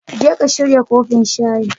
Jeka shirya kofin shayin